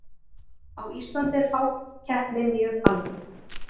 á íslandi er fákeppni mjög algeng